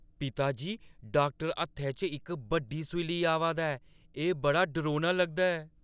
पिता जी, डाक्टर हत्थै च इक बड्डी सूई लेइयै आवा दा ऐ। एह् बड़ा डरौना लगदा ऐ।